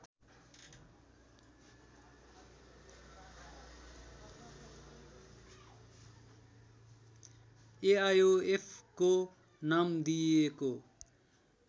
एआयोएफको नाम दिइएको